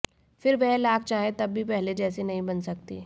फिर वह लाख चाहे तब भी पहले जैसी नहीं बन सकती